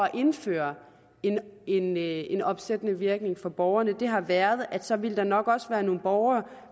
at indføre en en opsættende virkning for borgerne har været at så ville der nok også være nogle borgere